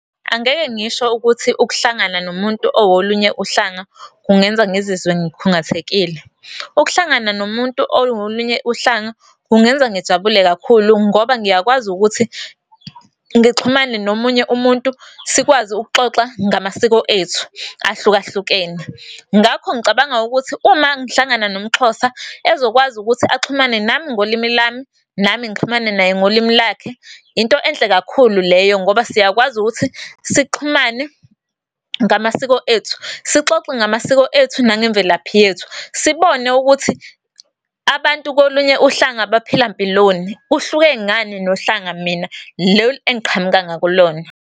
Angeke ngisho ukuthi ukuhlangana nomuntu owolunye uhlanga kungenza ngizizwe ngikhungathekile. Ukuhlangana nomuntu owolunye uhlanga kungenza ngijabule kakhulu ngoba ngiyakwazi ukuthi ngixhumane nomunye umuntu sikwazi ukuxoxa ngamasiko ethu ahlukahlukene. Ngakho ngicabanga ukuthi uma ngihlangana nomXhosa ezokwazi ukuthi axhumane nami ngolimi lami, nami ngixhumane naye ngolimi lakhe into enhle kakhulu leyo. Ngoba siyakwazi ukuthi sixhumane ngamasiko ethu sixoxe ngamasiko ethu nangemvelaphi yethu. Sibone ukuthi abantu kolunye uhlanga baphila mpiloni, kuhluke ngani nohlanga mina lolu engiqhamuka ngakulona.